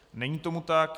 Není tomu tak.